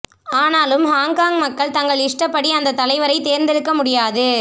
ஆனாலும் ஹாங்காங் மக்கள் தங்கள் இஷ்டப்படி அந்தத் தலைவரை தேர்ந்தெடுக்க முடியாது